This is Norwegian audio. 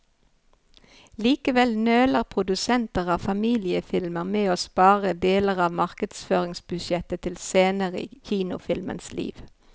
Likevel nøler produsenter av familiefilmer med å spare deler av markedsføringsbudsjettet til senere i kinofilmens liv.